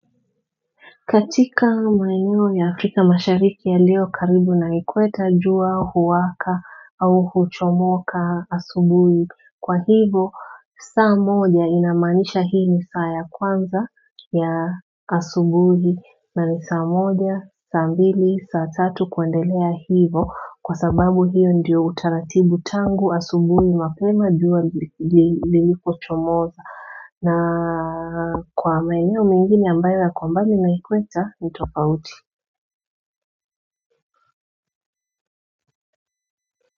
Katika maeneo ya afrika mashariki yaliyo karibu na ikweta jua, huwaka au huchomoka asubuhi kwa hivo, saa moja inamaanisha hii ni saa ya kwanza ya asubuhi na ni saa moja, saa mbili, saa tatu kuendelea hivo kwa sababu hiyo ndiyo utaratibu tangu asubuhi mapema jua lili lilipochomoza. Na kwa maeneo mengine ambayo yako mbali na ikweta ni tofauti.